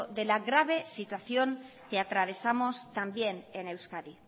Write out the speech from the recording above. de la grave situación que atravesamos también en euskadi